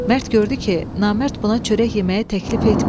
Mərd gördü ki, Namərd buna çörək yeməyə təklif etmir.